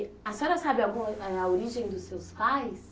a senhora sabe alguma a origem dos seus pais?